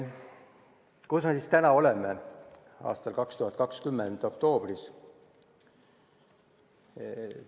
Kus me siis täna, 2020. aasta oktoobris oleme?